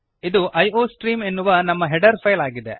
ಇದು ಐಯೋಸ್ಟ್ರೀಮ್ ಎನ್ನುವ ನಮ್ಮ ಹೆಡರ್ ಫೈಲ್ ಆಗಿದೆ